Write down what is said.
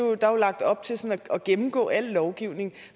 er der lagt op til at gennemgå al lovgivning